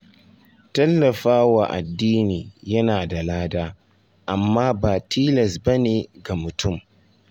Tallafawa addini yana da lada, amma ba tilas ba ne ga mutum.